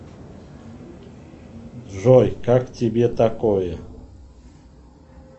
джой как тебе такое